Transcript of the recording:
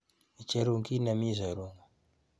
Icheru kit nemi serung'ung'.